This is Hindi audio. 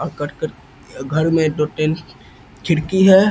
ह कट-कट घर में दो-तीन खिड़की है।